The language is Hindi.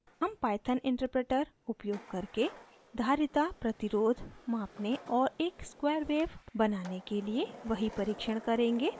हम python interpreter उपयोग करके धारिता प्रतिरोध मापने और एक square wave बनाने के लिए we परीक्षण करेंगे